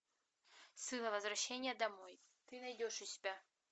сыла возвращение домой ты найдешь у себя